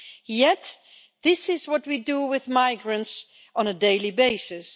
Yet this is what we do with migrants on a daily basis.